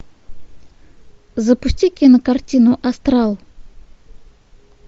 запусти кинокартину астрал